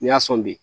N'i y'a sɔn bi